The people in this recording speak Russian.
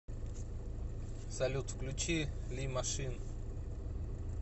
салют включи ли машин